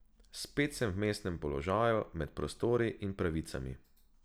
Spet sem v vmesnem položaju, med prostori in pravicami.